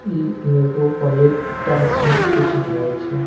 इ एगो plate type में कुछ धेल छै--